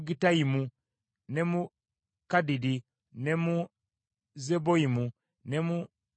ne mu Kadidi, ne mu Zeboyimu, ne mu Neballati,